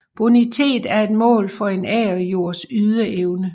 Bonitet er et mål for en agerjords ydeevne